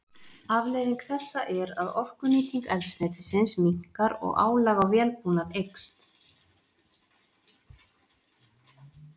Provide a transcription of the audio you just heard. Afleiðing þessa er að orkunýting eldsneytisins minnkar og álag á vélbúnað eykst.